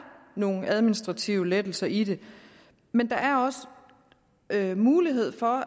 nogle administrative lettelser i det men der er også mulighed for